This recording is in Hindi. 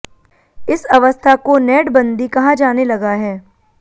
इस अवस्था को नेटबंदी कहा जाने लगा है